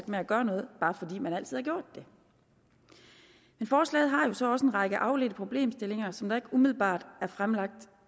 med at gøre noget bare fordi man altid har gjort det men forslaget har jo så også en række afledte problemstillinger som der ikke umiddelbart er fremlagt